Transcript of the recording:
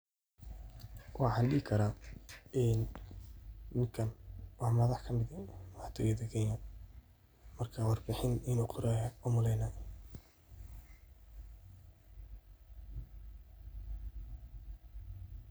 Waxan dhihi karaa ninkan waa madax kamide madaxtoyada Kenya marka war bixin inu qoraayo an umaleyna